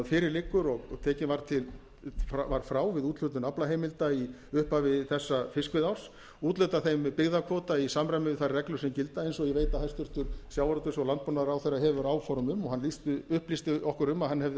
fyrir liggur og tekinn var frá við úthlutun aflaheimilda í upphafi þessa fiskveiðiárs úthluta þeim byggðakvóta í samræmi við þær reglur sem gilda eins og ég veit að hæstvirtur sjávarútvegs og landbúnaðarráðherra hefur áform um og hann upplýsti okkur um að hann